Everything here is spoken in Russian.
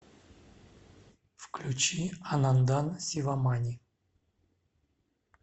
включи анандан сивамани